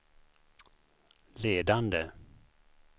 ledande